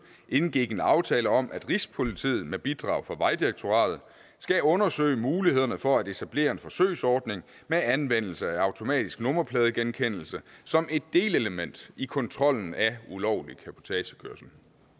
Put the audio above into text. indgik en aftale om at rigspolitiet med bidrag fra vejdirektoratet skal undersøge mulighederne for at etablere en forsøgsordning med anvendelse af automatisk nummerpladegenkendelse som et delelement i kontrollen af ulovlig cabotagekørsel